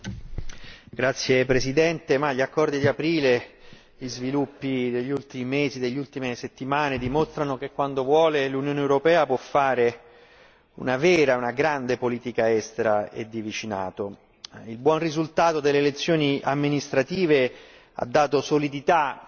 Signor Presidente, onorevoli colleghi, gli accordi di aprile, gli sviluppi degli ultimi mesi e delle ultime settimane dimostrano che, quando vuole, l'Unione europea può fare una vera e propria, una grande politica estera e di vicinato. Il buon risultato delle elezioni amministrative